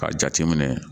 K'a jate minɛ